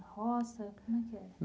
Roça como é que é?